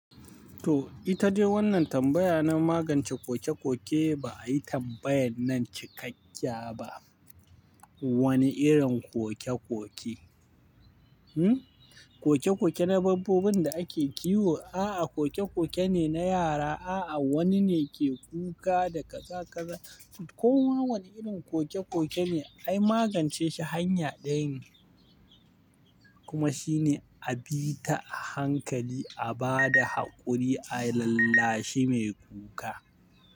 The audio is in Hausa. To ita dai wannan tambaya na magance koke-koke. Ba a yi tambayan nan cikakkiya ba. Wane irin koke-koke? Koke-koke na babbobin da ake kiwo, a'a, koke-koke ne na yara, a'a, wani ne ke kuka da kaza-kaza. Koma wani irin koke-koke ne, ai magance shi hanya ɗaya ne kuma shi ne a bi ta hankali, a ba da haƙuri, a lallashi mai kuka.